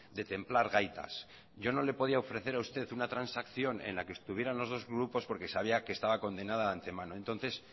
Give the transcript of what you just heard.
de templar gaitas yo no lo podía ofrecer a usted una transacción en la que estuvieran los dos grupos porque sabía que estaba condenada de ante mano entonces